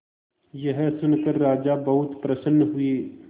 यह सुनकर राजा बहुत प्रसन्न हुए